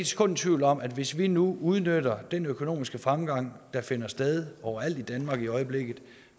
sekund i tvivl om at hvis vi nu udnytter den økonomiske fremgang der finder sted overalt i danmark i øjeblikket